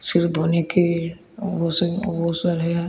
सिर धोने के बहोत सारे है।